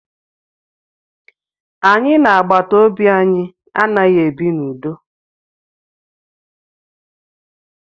Anyị na agbataobi anyị anaghị ebi n'udo